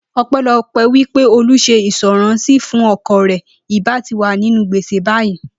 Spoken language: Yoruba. O̩pé̩lo̩pé̩ wí pé Olú s̩e ìǹs̩ó̩ráǹsì fún o̩kò̩ rè̩, ì bá ti wà nínú gbèsè báyìí